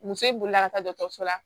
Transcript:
Muso bolila ka taa dɔgɔtɔrɔso la